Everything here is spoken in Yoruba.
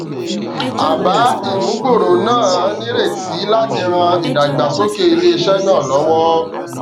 àbá ìmúgbòrò náà nírètí láti ran ìdàgbàsókè iléiṣẹ náà lọwọ